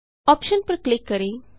option पर click करें